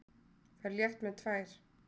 Ferð létt með tvær.